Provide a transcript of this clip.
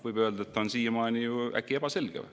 Võib öelda, et ta on siiamaani ju ebaselge.